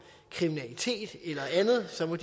kriminalitet eller andet så må